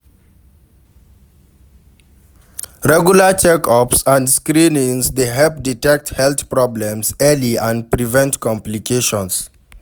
Regular check-ups and screenings dey help detect health problems early and prevent complications.